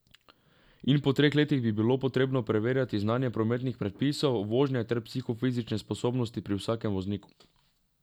In po treh letih bi bilo potrebno preverjati znanje prometnih predpisov, vožnje ter psihofizične sposobnosti pri vsakem vozniku.